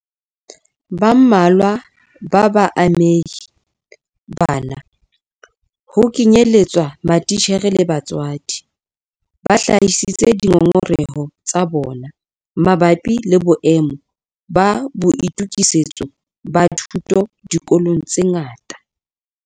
Ba mmalwa ba baamehi bana ho kenyeletswa matitjhere le batswadi ba hlahisitse dingongoreho tsa bona mabapi le boemo ba boitokisetso ba thuto dikolong tse ngata.